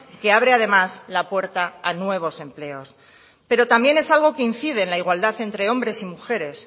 que abre además la puerta a nuevos empleos pero también es algo que incide en la igualdad entre hombres y mujeres